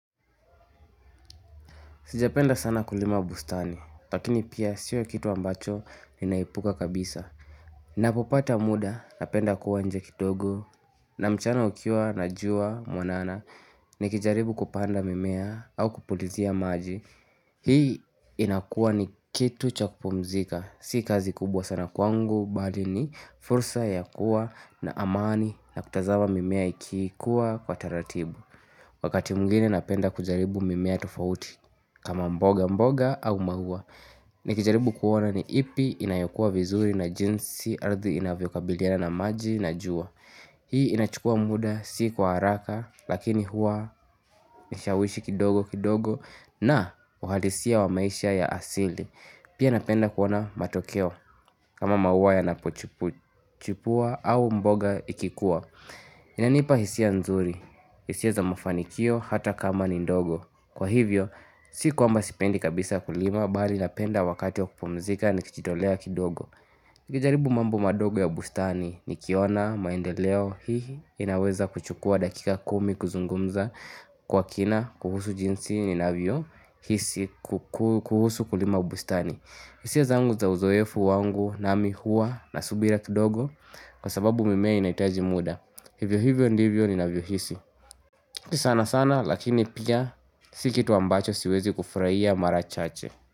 Sijapenda sana kulima bustani, lakini pia sio kitu ambacho ninaepuka kabisa Napopata muda napenda kuwa nje kidogo na mchana ukiwa na juwa mwanana Nikijaribu kupanda mimea au kupulizia maji Hii inakuwa ni kitu cha kupumzika Si kazi kubwa sana kwangu, bali ni fursa ya kuwa na amani na kutazama mimea ikikuwa kwa taratibu Wakati mwingine napenda kujaribu mimea tufauti kama mboga mboga au maua. Nikijaribu kuona ni ipi inayokua vizuri na jinsi ardhi inavyokabiliana na maji na juwa. Hii inachukua muda si kwa haraka lakini hua nishawishi kidogo kidogo na uhalisia wa maisha ya asili. Pia napenda kuona matokeo kama mahua yanapochipua au mboga ikikuwa. Inanipa hisia nzuri, hisia za mafanikio hata kama ni ndogo. Kwa hivyo, si kwamba sipendi kabisa kulima, bali napenda wakati wa kupumzika nikichitolea kidogo. Nikijaribu mambo madogo ya bustani nikiona, maendeleo, hihi, inaweza kuchukua dakika kumi kuzungumza kwa kina, kuhusu jinsi, ninavyo, hisi, kuhusu kulima bustani. Hisia zangu za uzoefu wangu na mi huwa na subira kidogo kwa sababu mimea inahitaji muda. Hivyo hivyo ndivyo, ninavyo hisi. Si sana sana lakini pia si kitu ambacho siwezi kufuraia mara chache.